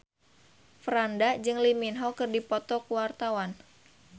Franda jeung Lee Min Ho keur dipoto ku wartawan